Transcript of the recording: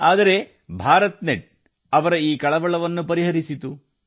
ಆದರೆ ಭಾರತ್ ನೆಟ್ ಅವರ ಕಳವಳವನ್ನು ಪರಿಹರಿಸಿತು